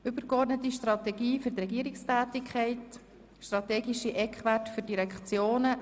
«Übergeordnete Strategie für die Regierungstätigkeit – Strategische Eckwerte für die Direktionen».